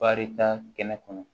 Barita kɛnɛ kɔnɔ